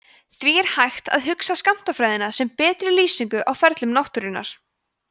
því er hægt að hugsa skammtafræðina sem betri lýsingu á ferlum náttúrunnar